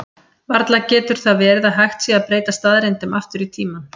Varla getur það verið að hægt sé að breyta staðreyndum aftur í tímann?